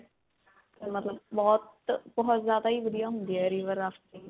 ਤੇ ਮਤਲਬ ਬਹੁਤ, ਬਹੁਤ ਜਿਆਦਾ ਹੀ ਵਧੀਆ ਹੁੰਦੀ ਹੈ river rafting.